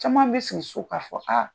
Caman be sigi so ka fɔ aa